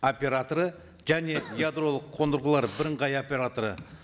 операторы және ядролық қондырғылар бірыңғай операторы